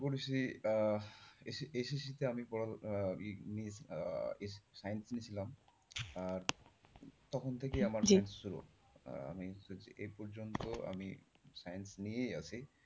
করেছি আহ SSC তে আমি পড়া আহ ওই science নিয়েছিলাম আহ তখন থেকেই আমার জেদ ছিল আহ আমি এ পর্যন্ত আমি science নিয়েই আছি।